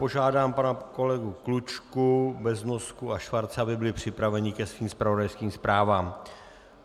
Požádám pana kolegu Klučku, Beznosku a Schwarze, aby byli připraveni ke svým zpravodajským zprávám.